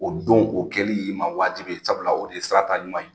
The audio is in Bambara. O don o kɛli y'i ma wajibi ye sabula o de ye sirata ɲuman ye.